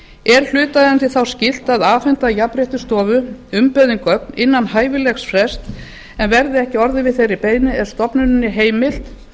er hlutaðeigandi þá skylt að afhenda jafnréttisstofu umbeðin gögn innan hæfilegs frests en verði ekki orðið við þeirri beiðni er stofnuninni heimilt